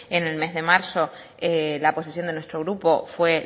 en el mes de marzo la posición de nuestro grupo fue